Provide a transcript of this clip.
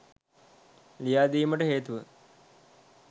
ලියා දීමට හේතුව